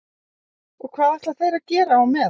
Og hvað ætla þeir að gera á meðan?